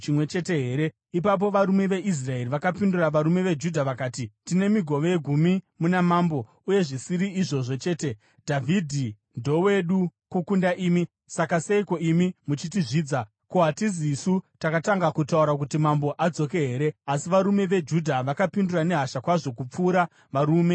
Ipapo varume veIsraeri vakapindura varume veJudha vakati, “Tine migove gumi muna mambo; uye zvisiri izvozvo chete, Dhavhidhi ndowedu kukunda imi. Saka seiko imi muchitizvidza? Ko, hatizisu takatanga kutaura kuti mambo adzoke here?” Asi varume veJudha vakapindura nehasha kwazvo kupfuura varume veIsraeri.